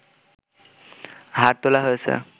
হাড় তোলা হয়েছে